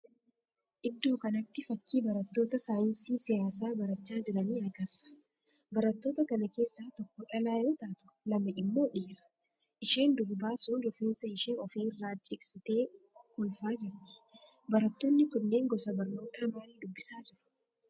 Iddoo kanatti fakkii barattoota saayinsii siyaasaa barachaa jiranii agarra. Barattoota kana keessa tokko dhalaa yoo taatu lama immoo dhiira. Isheen durbaa sun rifeensa ishee ofi irra cigsitee kolfaa jirti. Barattoonni kunneen gosa barnoota maalii dubbisaa jiru?